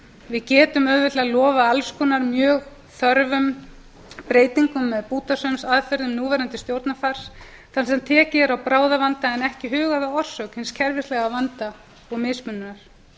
við getum auðveldlega lofað alls konar mjög þörfum breytingum með bútasaumsaðferðum núverandi stjórnarfars þar sem tekið er á bráðavanda en ekki hugað að orsök hins kerfislæga vanda og mismununar